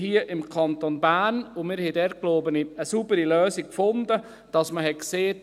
Wir sind hier im Kanton Bern, und wir haben dort, glaube ich, eine saubere Lösung gefunden, indem man gesagt hat: